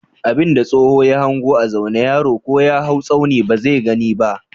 Abin da tsoho ya hanga a zaune yaro ko ya haw tsauni ba zai gani ba.